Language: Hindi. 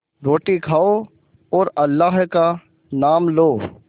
रोटी खाओ और अल्लाह का नाम लो